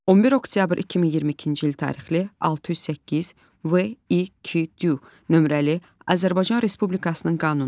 11 oktyabr 2022-ci il tarixli 608 VI2 nömrəli Azərbaycan Respublikasının qanunu.